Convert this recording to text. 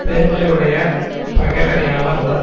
பெருமையுடைய பகைவர் யாவர் உளர்